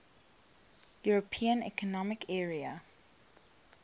european economic area